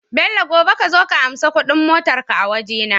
Bello gobe kazo ka anshi Ƙudin motar ka a waje na